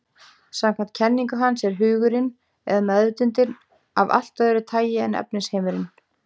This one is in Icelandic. Samkvæmt kenningu hans er hugurinn, eða meðvitundin, af allt öðru tagi en efnisheimurinn.